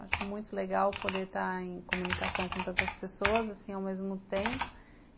Acho muito legal poder estar em comunicação com tantas pessoas assim ao mesmo tempo.